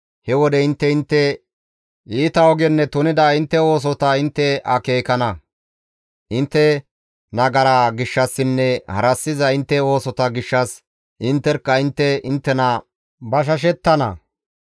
He wode intte intte iita ogenne tunida intte oosota intte akeekana; intte nagara gishshassinne harassiza intte oosota gishshas intterkka intte inttena bashashettana.